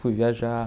Fui viajar.